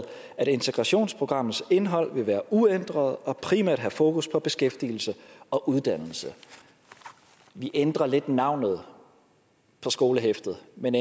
at integrationsprogrammets indhold vil være uændret og primært have fokus på beskæftigelse og uddannelse man ændrer altså lidt på navnet på skolehæftet men